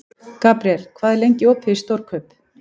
Gabriel, hvað er lengi opið í Stórkaup?